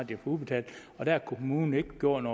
det udbetalt og der har kommunen ikke gjort